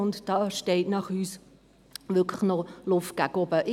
Gemäss uns besteht hier wirklich noch Luft nach oben.